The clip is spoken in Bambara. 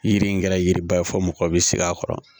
Yiri in kɛra yiriba ye fɔ mɔgɔ bɛ sigi a kɔrɔ